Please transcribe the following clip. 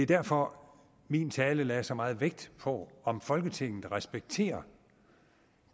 derfor min tale lagde så meget vægt på om folketinget respekterer